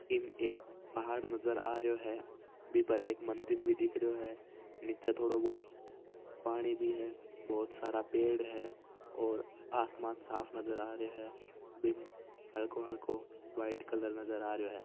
इम एक पहाड़ नज़र आ रहियो है वी पर एक मंदिर भी दिख रहियो है नीचे थोड़ो बहुत पानी भी है बहुत सारा पेड़ हैऔर आसमान साफ़ नजर आ रहियो है बीम हलको-हलको व्हाइट कलर नज़र आ रहियो हैं।